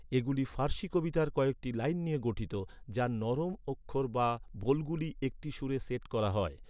এগুলি ফার্সি কবিতার কয়েকটি লাইন নিয়ে গঠিত, যার নরম অক্ষর বা বোলগুলি একটি সুরে সেট করা হয়।